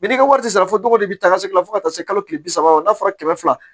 n'i ka wari tɛ sara fɔ dɔgɔ de bɛ taga se fo ka taa se kalo kile bi saba ma n'a fɔra kɛmɛ fila